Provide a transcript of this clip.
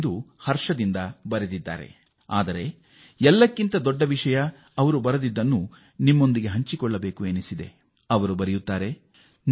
ಅವರು ತುಂಬಾ ಪ್ರಾಮಾಣಿಕವಾಗಿ ಬರೆದಿರುವುದನ್ನು ನಾನು ನಿಮ್ಮೊಂದಿಗೆ ಹಂಚಿಕೊಳ್ಳ ಬಯಸುತ್ತೇನೆ